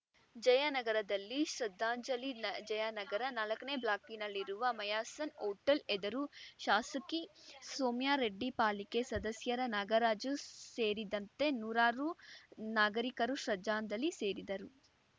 ಜಯನಗರದಲ್ಲಿ ಶ್ರದ್ಧಾಂಜಲಿ ನ ಜಯನಗರ ನಾಲ್ಕನೇ ಬ್ಲಾಕ್‌ನಲ್ಲಿರುವ ಮೈಯ್ಯಾಸನ್ ಹೋಟೆಲ್‌ ಎದುರು ಶಾಸಕಿ ಸೌಮ್ಯಾರೆಡ್ಡಿ ಪಾಲಿಕೆ ಸದಸ್ಯರ ನಾಗರಾಜು ಸೇರಿದಂತೆ ನೂರಾರು ನಾಗರಿಕರು ಶ್ರದ್ಧಾಂಜಲಿ ಸೇರಿದರು